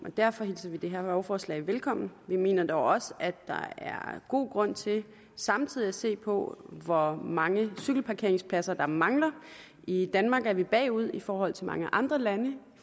og derfor hilser vi det her lovforslag velkommen vi mener dog også at der er god grund til samtidig at se på hvor mange cykelparkeringspladser der mangler i danmark er vi bagud i forhold til mange andre lande